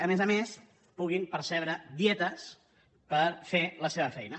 a més a més puguin percebre dietes per fer la seva feina